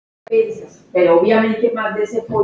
Ég má ekki við miklu.